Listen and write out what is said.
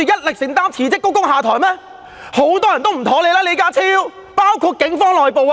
李家超，很多人都對你不滿，包括警方內部。